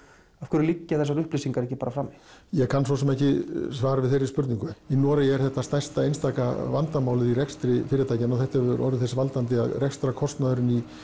af hverju liggja þessar upplýsingar ekki bara frammi ég kann svo sem ekki svar við þeirri spurningu í Noregi er þetta stærsta einstaka vandamálið í rekstri fyrirtækjanna og þetta hefur orðið þess valdandi að rekstrarkostnaðurinn í